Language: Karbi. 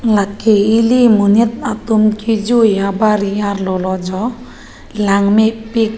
lake eli monit atum kejui abari arlo lojo langmepik.